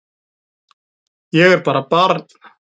Ég er bara barn.